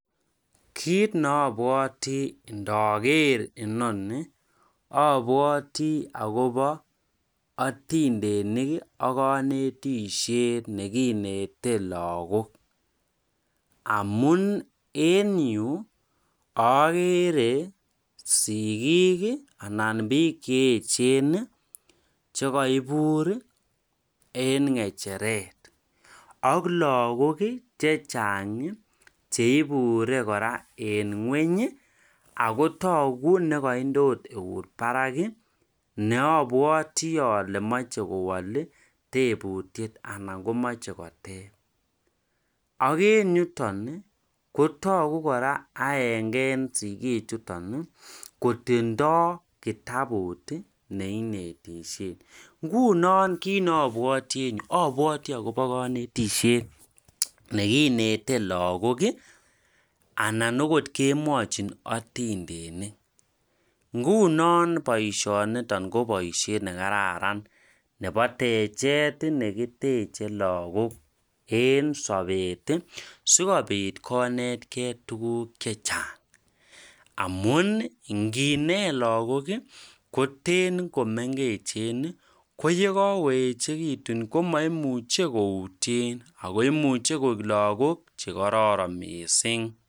kiit neobwoti ndogeer inoni, obwoti agobo otindenik iih ak konetisyeet neginete lagook amuun en yu ogere sigiik iih anan biik cheechen iih chegoibuur iih en ngecheret ak lagook iih chechang iih cheibure kora en ngweny iih ak togo negoinde oot euut barak ih neobwoti ole moche kowool iih tebutyeet anan komoche koteeb, ak en yuton iih kotogu kora anege en sigiik chuton iih kotindo kitabuut iih neinetishen, ngunon kiit nobwoti en en yu obwoti agobo konetisyet neginete lagook iih anan agot kemwochin otindenik, ngunon boishoniton ko boishet negararn nebo techet iih negiteche lagook en sobeet iih sigobiit konetkee tuguuk chechang amuun iih ngineet lagok iih koten komengechen iih ko yagagoechegitun komoimuche koutyeen ago imuche koek lagook chegororon mising.